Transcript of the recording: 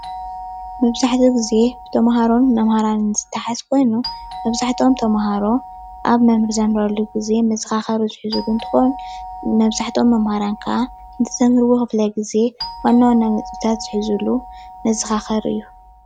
መብዛሕትኡ ግዜ ብተምሃሮን መምህራንን ዝተሓዝ ኮይኑ መብዛሕተኦም ተምሃሮ ኣብ መምህራን ኣብ ዘምህረሉ ግዜ መዘካከሪ ዝህዝሉ እንትኮኑ መብዛህቶም መምህራን ከዓ እቲ ዘምህርዎ ክፍለ ግዜ ዋና ዋን ነጥቢ ዝሕዝሉ መዘካከሪ እዩ።